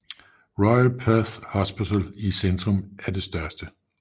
Royal Perth Hospital i centrum er det største